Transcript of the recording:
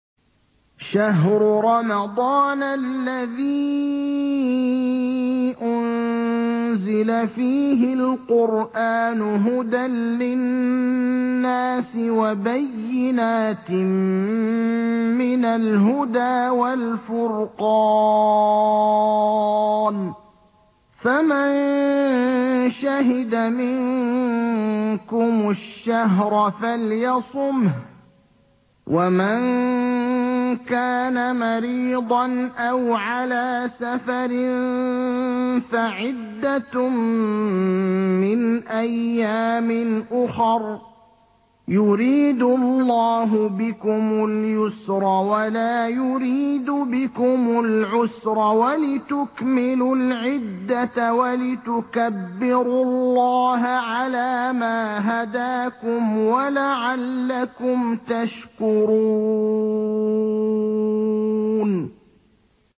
شَهْرُ رَمَضَانَ الَّذِي أُنزِلَ فِيهِ الْقُرْآنُ هُدًى لِّلنَّاسِ وَبَيِّنَاتٍ مِّنَ الْهُدَىٰ وَالْفُرْقَانِ ۚ فَمَن شَهِدَ مِنكُمُ الشَّهْرَ فَلْيَصُمْهُ ۖ وَمَن كَانَ مَرِيضًا أَوْ عَلَىٰ سَفَرٍ فَعِدَّةٌ مِّنْ أَيَّامٍ أُخَرَ ۗ يُرِيدُ اللَّهُ بِكُمُ الْيُسْرَ وَلَا يُرِيدُ بِكُمُ الْعُسْرَ وَلِتُكْمِلُوا الْعِدَّةَ وَلِتُكَبِّرُوا اللَّهَ عَلَىٰ مَا هَدَاكُمْ وَلَعَلَّكُمْ تَشْكُرُونَ